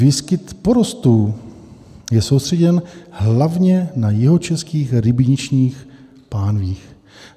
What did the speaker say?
Výskyt porostů je soustředěn hlavně do jihočeských rybničních pánví.